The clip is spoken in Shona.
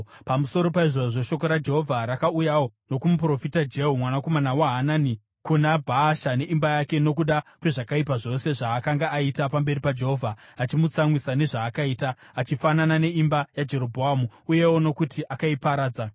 Pamusoro paizvozvo, shoko raJehovha rakauyawo nokumuprofita Jehu mwanakomana waHanani kuna Bhaasha neimba yake, nokuda kwezvakaipa zvose zvaakanga aita pamberi paJehovha achimutsamwisa nezvaakaita, achifanana neimba yaJerobhoamu, uyewo nokuti akaiparadza.